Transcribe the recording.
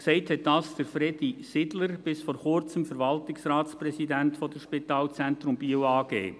Gesagt hat dies Fredy Sidler, bis vor Kurzem Verwaltungsratspräsident der Spitalzentrum Biel AG.